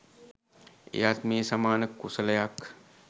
එයත් මේ සමාන කුසලයක්.